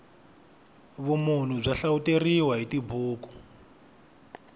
vumunhu bya hlawuteriwa hi tibuku